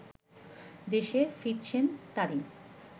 দেশে ফিরছেন তারিন